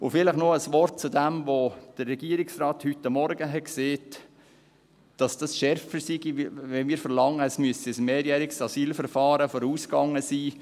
Und vielleicht noch ein Wort zu dem, was der Regierungsrat heute Morgen gesagt hat, es wäre schärfer, wenn wir verlangten, es müsse ein mehrjähriges Asylverfahren vorausgegangen sein: